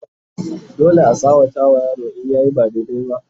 dole a tsawata wa yaro in yayi ba daidai ba